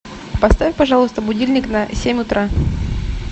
поставь пожалуйста будильник на семь утра